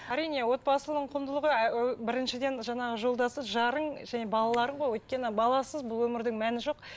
әрине отбасының құндылығы біріншіден жаңағы жолдасы жарың және балаларың ғой өйткені баласыз бұл өмірдің мәні жоқ